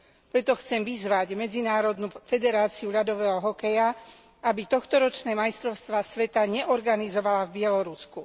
Preto chcem vyzvať Medzinárodnú federáciu ľadového hokeja, aby tohtoročné majstrovstvá sveta neorganizovala v Bielorusku.